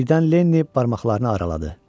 Birdən Lenni barmaqlarını araladı.